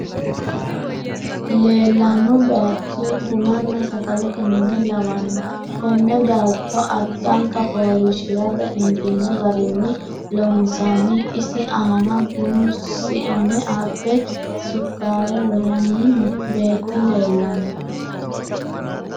Leellanno baaychi bununna sagalete mine lawanno konne baaycho addanka fooliishshirate injiino garinni loonsoonni isi aana bunu sione abbe sukkaare woranni no beetti leellanno.